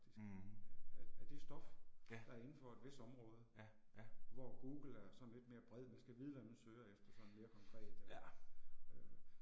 Mh. Ja. Ja, ja. Ja